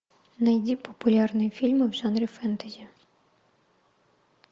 найди популярные фильмы в жанре фэнтези